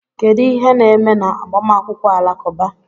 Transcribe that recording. Kedu ihe na-eme n'agbamakwụkwọ Alakụba?